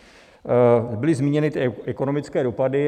Byly zmíněny ty ekonomické dopady.